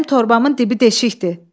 Mənim torbamın dibi deşikdir.